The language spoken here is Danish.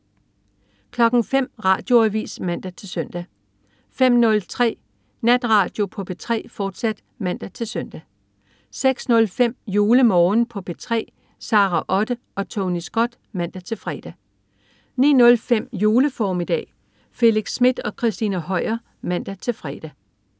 05.00 Radioavis (man-søn) 05.03 Natradio på P3, fortsat (man-søn) 06.05 JuleMorgen på P3. Sara Otte og Tony Scott (man-fre) 09.05 Juleformiddag. Felix Smith og Christina Høier (man-fre)